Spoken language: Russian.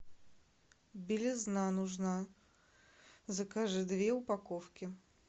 белизна нужна закажи две упаковки